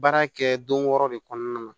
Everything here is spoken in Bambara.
Baara kɛ don wɔɔrɔ de kɔnɔna na